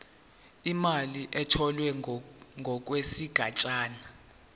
imali etholwe ngokwesigatshana